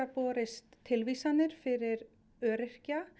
borist tilvísanir fyrir öryrkja